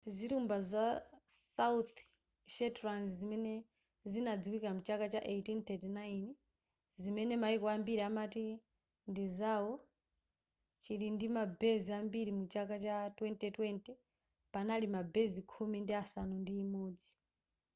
zilumba za south shetlands zimene zinadziwika mchaka cha 1839 zimene maiko ambiri amati ndizao chilindima base ambiri muchaka cha 2020 panali ma base khumi ndi asanu ndi imodzi